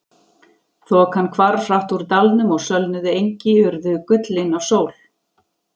Þokan hvarf hratt úr dalnum og sölnuð engi urðu gullin af sól.